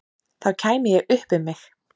Þá kæmi ég upp um mig.